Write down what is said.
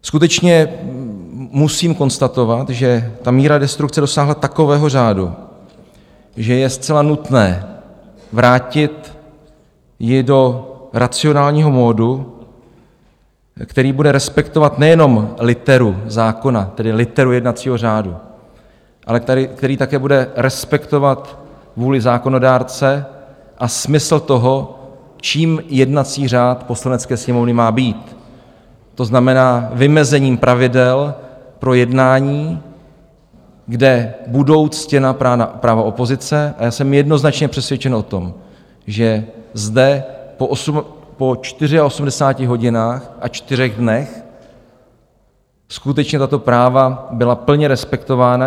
Skutečně musím konstatovat, že ta míra destrukce dosáhla takového řádu, že je zcela nutné vrátit ji do racionálního modu, který bude respektovat nejenom literu zákona, tedy literu jednacího řádu, ale který také bude respektovat vůli zákonodárce a smysl toho, čím jednací řád Poslanecké sněmovny má být, to znamená vymezením pravidel pro jednání, kde budou ctěna práva opozice, a já jsem jednoznačně přesvědčen o tom, že zde po 84 hodinách a čtyřech dnech skutečně tato práva byla plně respektována.